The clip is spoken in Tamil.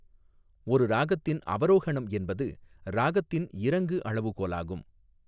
ஒரு ராகத்தின் அவரோஹணம் என்பது ராகத்தின் இறங்கு அளவுகோலாகும்.